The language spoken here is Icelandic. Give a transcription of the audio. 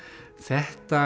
þetta